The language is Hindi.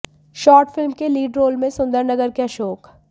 शॉर्ट फिल्म के लीड रोल में सुंदरनगर के अशोक